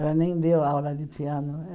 Ela nem deu aula de piano.